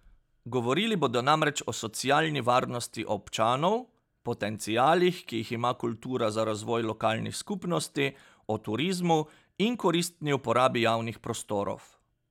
Govorili bodo namreč o socialni varnosti občanov, potencialih, ki jih ima kultura za razvoj lokalnih skupnosti, o turizmu in koristni uporabi javnih prostorov.